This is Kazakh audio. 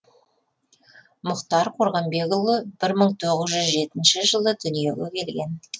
мұхтар қорғанбекұлы бір мың тоғыз жүз жетінші жылы дүниеге келген